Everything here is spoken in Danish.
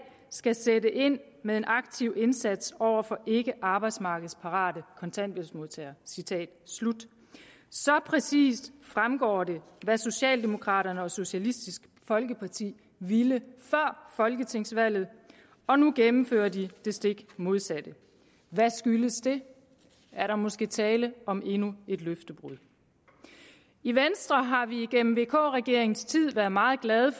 skal sætte ind med en aktiv indsats over for ikkearbejdsmarkedsparate kontanthjælpsmodtagere så præcist fremgår det hvad socialdemokraterne og socialistisk folkeparti ville før folketingsvalget og nu gennemfører de det stik modsatte hvad skyldes det er der måske tale om endnu et løftebrud i venstre har vi igennem vk regeringens tid været meget glade